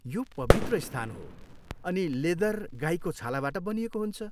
यो पवित्र स्थान हो अनि लेदर गाईको छालाबाट बनिएको हुन्छ।